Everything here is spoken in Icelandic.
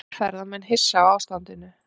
Ferðamenn hissa á ástandinu